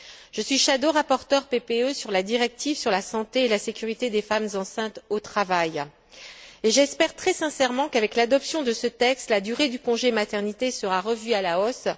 Je suis rapporteure fictive PPE sur la directive sur la santé et la sécurité des femmes enceintes au travail. J'espère très sincèrement qu'avec l'adoption de ce texte, la durée du congé de maternité sera revue à la hausse